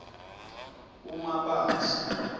umabasa